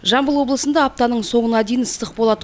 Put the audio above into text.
жамбыл облысындағы апта соңына дейін ыстық болады